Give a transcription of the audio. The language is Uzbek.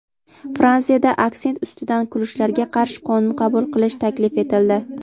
Fransiyada aksent ustidan kulishlarga qarshi qonun qabul qilish taklif etildi.